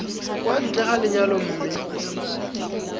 kwa ntle ga lenyalo mme